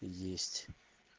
есть